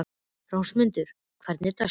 Rósmundur, hvernig er dagskráin?